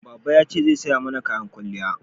Baba ya ce zai saya mana kayan kwalliya